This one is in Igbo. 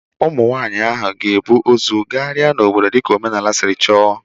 Ụmụ nwaanyị ahụ ga-ebu ozu gagharia n'obodo dịka omenala siri chọọ.